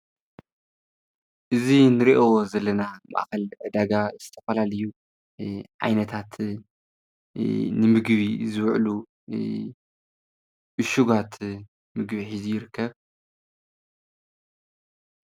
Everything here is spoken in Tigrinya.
እዝ ንርእዮ ዘለና ማእኸል ዳጋ ዝተፈላሊ ዓይነታት ንምግቢ ዝውዕሉ ብሹጓት ምግቢ ይርከብ።